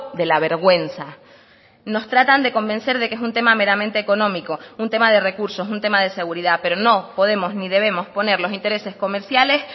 de la vergüenza nos tratan de convencer de que es un tema meramente económico un tema de recursos un tema de seguridad pero no podemos ni debemos poner los intereses comerciales